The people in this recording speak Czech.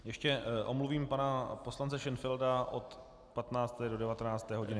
Ještě omluvím pana poslance Šenfelda od 15. do 19. hodiny.